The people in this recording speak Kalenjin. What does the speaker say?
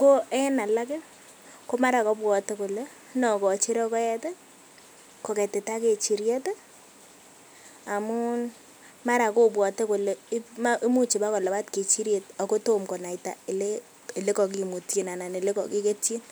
ko en alak komara kobwote kolee nokochi rokoet koketita kechiriet amun mara kobwote kolee imuch ibakolabat kechiriet ak ko tom konaita elekokimutyin alaan elekokiketyin.